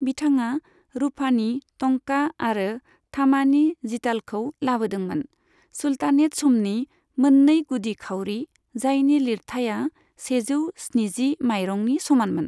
बिथाङा रुफानि टंका आरो थामानि जितालखौ लाबोदोंमोन, सुल्तानेत समनि मोननै गुदि खाउरि, जायनि लिरथाइआ सेजौ स्निजि माइरंनि समानमोन ।